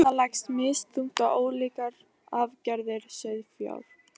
riða leggst misþungt á ólíkar arfgerðir sauðfjár